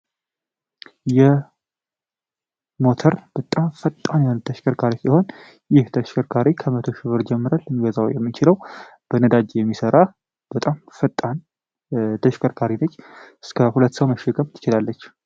የሞተር በጣም ፈጣን የሆለተሽከርካሪ ሲሆን ይህ ተሽሽርካሬ ከ00 ሽብር ጀምረል ልንገዛው የሚችለው በነዳጅ የሚሠራህ በጣም ፈጣን ተሽከርካሪነች እስከ 2ትሰው መሽገብ ይችላለች።